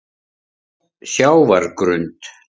Sjávargrund